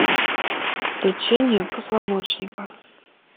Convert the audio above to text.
лечение позвоночника